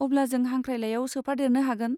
अब्ला जों हांख्राइलाइआव सोफादेरनो हागोन।